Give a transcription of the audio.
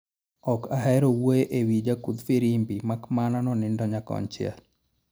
Ok ahero wuoye e wii jakudh firimbi makmana ni nonindo nyakon chiel